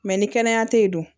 ni kɛnɛya tɛ yen dun